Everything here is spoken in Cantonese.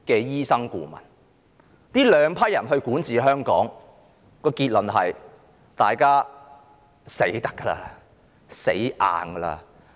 由這兩批人來管治香港，結論是大家"死得"了或"死硬"了。